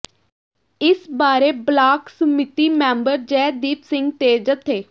ਇਸ ਬਾਰੇ block Samiti member Jaideep Singh ਤੇ ਜਥੇ